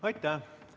Aitäh!